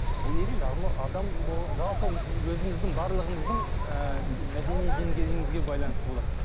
ол неден шағымы адам жалпы өзіміздің барлығымыздың ыыы мәдени деңгейімізге байланысты болады